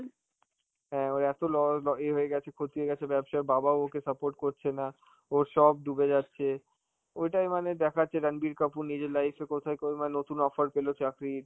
হ্যাঁ, ওরা তো ল~ আঁ এ হয়ে গেছে, ক্ষতি হয়ে গেছে ব্যবসায়, বাবা ও ওকে support করছে না, ওর সব ডুবে যাচ্ছে, ওইটাই মানে দেখাচ্ছে রাণবীর কাপুর নিজের life এ কোথায় করবে~ মানে নতুন offer পেল চাকরির,